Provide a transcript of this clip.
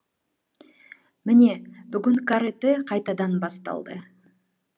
міне бүгін каратэ қайтадан басталды